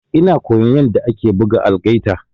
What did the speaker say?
Ina koyan yanda ake buga algaita.